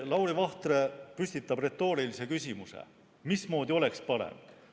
Lauri Vahtre püstitab retoorilise küsimuse, mismoodi oleks parem.